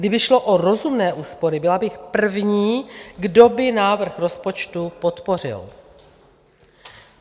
Kdyby šlo o rozumné úspory, byla bych první, kdo by návrh rozpočtu podpořil.